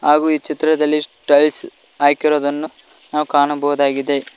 ಹಾಗು ಈ ಚಿತ್ರದಲ್ಲಿ ಟೈಲ್ಸ್ ಹಾಕಿರುವುದನ್ನು ನಾವು ಕಾಣಬಹುದಾಗಿದೆ.